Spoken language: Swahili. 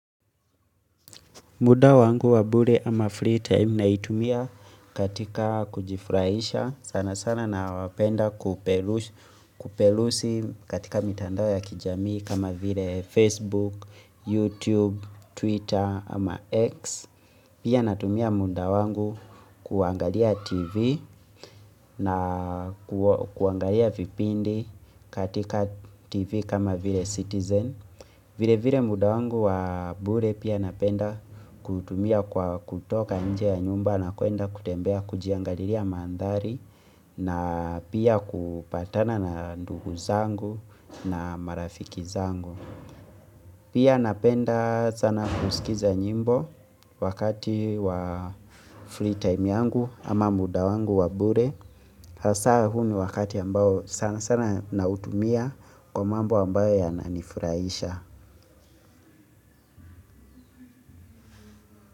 Muda wangu wa bure ama free time naitumia katika kujifurahisha sana sana na wapenda kupelusi katika mitandao ya kijamii kama vile Facebook, YouTube, Twitter ama X Pia natumia muda wangu kuangalia TV na kuangalia vipindi katika TV kama vile Citizen vile vile muda wangu wa mbure pia napenda kutumia kwa kutoka nje ya nyumba na kuenda kutembea kujiangalia mandhari na pia kupatana na ndugu zangu na marafiki zangu. Pia napenda sana kusikiza nyimbo wakati wa free time yangu ama muda wangu wa mbure. Hasa huu ni wakati ambao sana sana nautumia kwa mambo ambayo yananifurahisha.